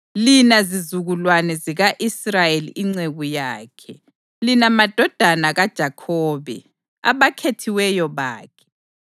lina zizukulwane zika-Israyeli inceku yakhe, lina madodana kaJakhobe, abakhethiweyo bakhe.